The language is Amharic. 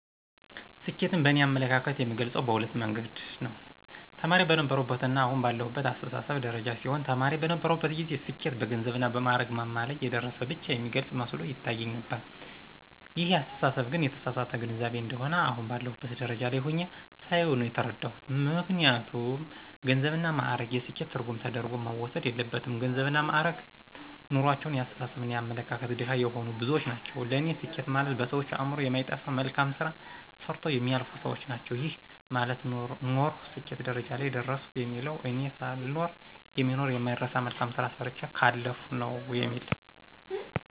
ስኬትን በእኔ አመለካከት የምገልጸው በሁለት አይነት መንገድ ነው። ተማሪ በነበርሁበትና አሁን ባለሁበት አስተሳሰብ ደረጃ ሲሆን ተማሪ በነበርሁበት ጊዜ ስኬት በገንዘብና በማእረግ ማማ ላይ የደረሰ ብቻ የሚገልጽ መስሎ ይታየኝ ነበር ይሄ አስተሳሰብ ግን የተሳሳተ ግንዛቤ እንደሆነ አሁን ባለሁበት ደረጃ ላይ ሁኘ ሳየው ነው የተረዳሁት። ምክንያቱም ገንዘብና ማእረግ የስኬት ትርጉም ተደርጎ መወሰድ የለበትም ገንዘብና ማእረግ ኑሮአቸው የአስተሳሰብና የአመለካከት ድሀ የሆኑ ብዙዎች ናቸው ለኔ ስኬት ማለት በሰዎች አእምሮ የማይጠፋ መልካም ስራ ሰርተው የሚያልፉ ሰዎች ናቸው። ይሄ ማለት ኖርሁ ስኬት ደረጃ ላይ ደረሰሁ የሚባለው እኔ ሳልኖር የሚኖር የማይረሳ መልካም ስራ ሰርቸ ካለፍሁ ነው የሚል እሳቤ አለኝ።